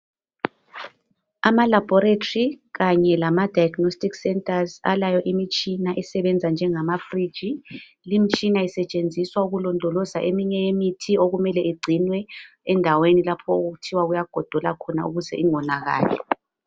Amalabhorethi kanye lama 'diagnostic centers' alayo imitshina esebenza njengama'fridge'.Limtshina isetshenziswa ukulondoza eminye imithi okumele igcinwe endaweni okuthiwa kuyagodola khona ukuze ingonakali.